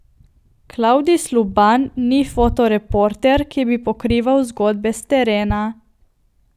Klavdij Sluban ni fotoreporter, ki bi pokrival zgodbe s terena.